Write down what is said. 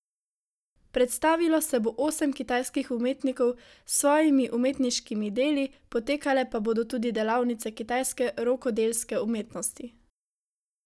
Predstavilo se bo osem kitajskih umetnikov s svojimi umetniškimi deli, potekale pa bodo tudi delavnice kitajske rokodelske umetnosti.